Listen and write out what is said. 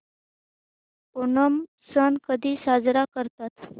ओणम सण कधी साजरा करतात